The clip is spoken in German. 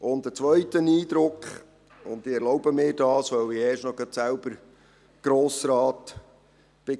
Ein zweiter Eindruck – ich erlaube mir das, weil ich erst noch selber Grossrat war: